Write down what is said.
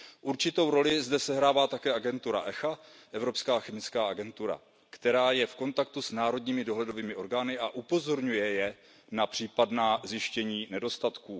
Určitou roli zde sehrává také Evropská chemická agentura, která je v kontaktu s národními dohledovými orgány a upozorňuje je na případná zjištění nedostatků.